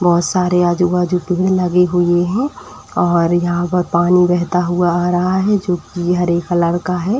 बोहोत सारे आजू-बाजू भीड़ लगी हुई है और यहां पर पानी बहता हुआ आ रहा है जो कि हरे कलर का है।